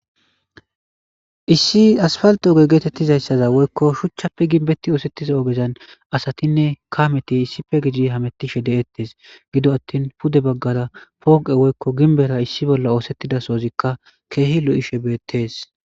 Issi asphalththe geetheththida woykko shuchchappe gimbeththi ooseththiza ogezan asathinne kamethi issippe hameththishe de7es; gido aththin pude baggaara pooqee woykko gimbbetha issi bolli oosethiza sohothikka keehi lo7ishe beeththees.